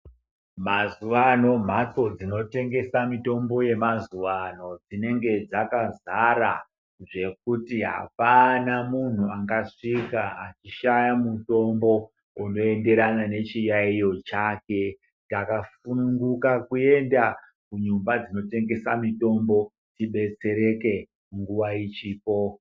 Mazuwa ano mhatso dzinotengese mitombo yemazuwa ano dzinenge dzakazara zvekuti apana munhu angasvika achishaya mutombo unoenderana nechiyaiyo chake. Takasununguna kuenda kudzimba dzinotengese mitombo tibetsereke nguwa ichipo.